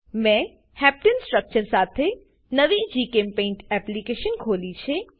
મેં હેપ્ટને heptane structure સાથે નવી જીચેમ્પેઇન્ટ એપ્લીકેશન ખોલી છે